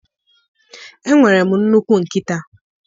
Enwere m nnukwu nkịta.